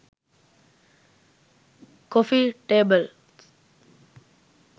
coffee tables